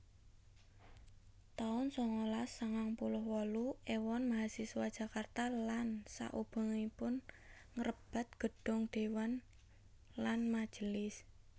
taun sangalas sangang puluh wolu Éwon mahasiswa Jakarta lan saubengipun ngrebat Gedhong dewan lan majelis